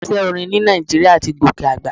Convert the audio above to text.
Iṣẹ́ orin ní Nàìjíríà ti gòkè àgbà.